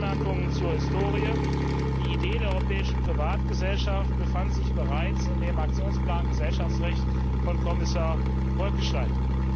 Ein paar Anmerkungen zur Historie Die Idee der Europäischen Privatgesellschaft befand sich bereits in dem Aktionsplan Gesellschaftsrecht von Kommissar Bolkestein.